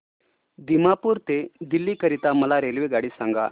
दिमापूर ते दिल्ली करीता मला रेल्वेगाडी सांगा